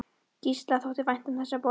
Gísla þótti vænt um þessa borg.